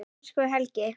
Elsku Helgi.